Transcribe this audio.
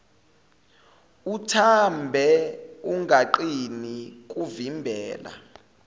uthambe ungaqini kuvimbela